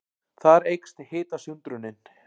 Þar eykst hitasundrunin.